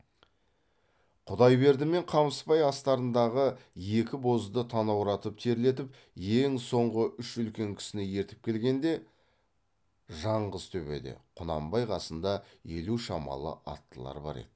құдайберді мен қамысбай астарындағы екі бозды танауратып терлетіп ең соңғы үш үлкен кісіні ертіп келгенде жаңғыз төбеде құнанбай қасында елу шамалы аттылар бар еді